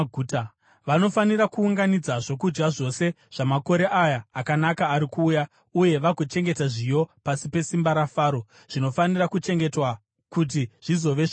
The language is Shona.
Vanofanira kuunganidza zvokudya zvose zvamakore aya akanaka ari kuuya uye vagochengeta zviyo pasi pesimba raFaro, zvinofanira kuchengetwa kuti zvizove zvokudya.